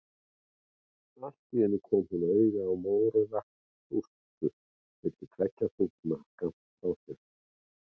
Allt í einu kom hún auga á mórauða þústu milli tveggja þúfna skammt frá sér.